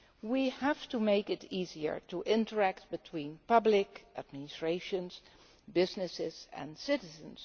We have to make it easier to interact between public administrations, businesses and citizens.